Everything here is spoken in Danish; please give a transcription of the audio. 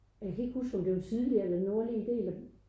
Jeg kan ikke huske om det var sydlige eller nordlige del af